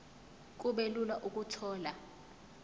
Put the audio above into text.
kube lula ukuthola